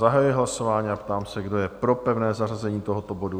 Zahajuji hlasování a ptám se, kdo je pro pevné zařazení tohoto bodu?